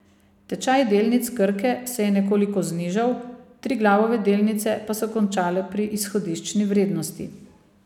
Tečaj delnic Krke se je nekoliko znižal, Triglavove delnice pa so končale pri izhodiščni vrednosti.